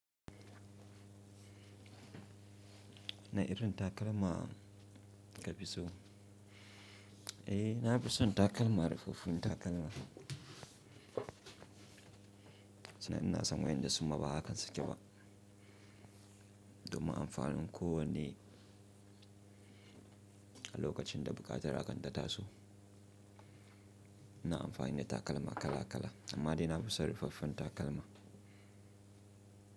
Wane irin takalma ka fi so? Eh, na fi son takalma, ruffaffun takalma. Sannan ina son waƴanda su ma ba haka suke ba. Domin amfanin kowane, a lokacin da buƙatar akan ta taso. Ina amfani da takalma kala kala, amma dai na fi son ruffaffen takalma.